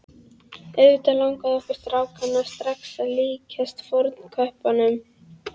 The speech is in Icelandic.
Auðvitað langaði okkur strákana strax að líkjast fornköppunum.